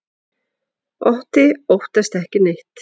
Otti óttast ekki neitt!